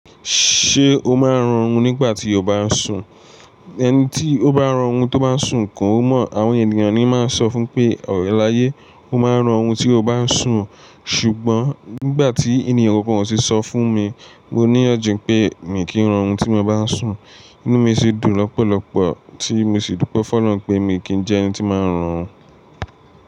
Ṣé o máa ń rọrùn nígbà tí o bá ń sùn? Ẹni tí ó bá rọrùn tó bá ń sùn kọ́ ó mọ̀. Àwọn ènìyàn ni máa ń sọ fún pé, ọ̀rẹ́ láyé, o máa ń rọrùn tí o bá ń sùn. Ṣùgbọ́n nígbà tí ènìyàn kankan o ṣe sọ fún mi, mo níyànjú pé mi kì í rọrùn tí mo bá ń sùn. Inú mi sì dùn lọ́pọ̀lọpọ̀ tí mo sì dúpẹ́ Fọlú pé mi kì ń jẹ́ ẹni tí máa ń rọrùn.